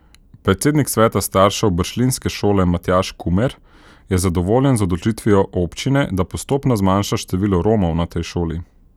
Predsednik sveta staršev bršljinske šole Matjaž Kumer je zadovoljen z odločitvijo občine, da postopno zmanjša število Romov na tej šoli.